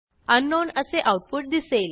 अंकनाउन असे आऊटपुट दिसेल